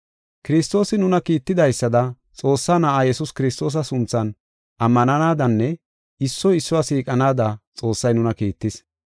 Kiristoosi nuna kiittidaysada Xoossaa Na7aa Yesuus Kiristoosa sunthan ammananadanne issoy issuwa siiqanaada Xoossay nuna kiittis.